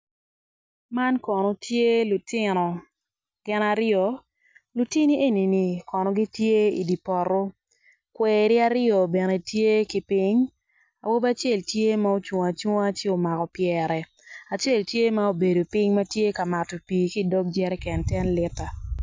Man kono tye lutino gin aryo, lutini eni kono gitye i dye poto kweri aryo bene tye ki piny awobi cel tye ma ocung acunga ci omako pyere acel tye ma obedo piny tye ka mato pii ki i dog jerican ten lita.